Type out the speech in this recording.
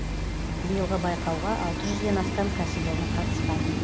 биылғы байқауға алты жүзден астам кәсіпорын қатысқан